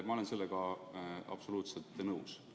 Ma olen sellega absoluutselt nõus.